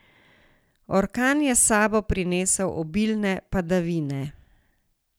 Orkan je s sabo prinesel obilne padavine.